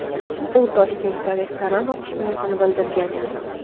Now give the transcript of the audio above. U Toshkentda restoran ochish niyatini bildirgan edi .